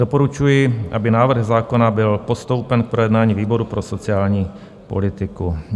Doporučuji, aby návrh zákona byl postoupen k projednání výboru pro sociální politiku.